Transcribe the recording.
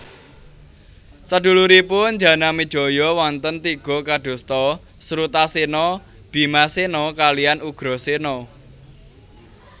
Saduluripun Janamejaya wonten tiga kadosta Srutasena Bimasena kaliyan Ugrasena